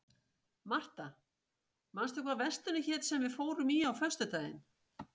Martha, manstu hvað verslunin hét sem við fórum í á föstudaginn?